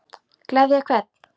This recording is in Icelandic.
Gleðja hvern?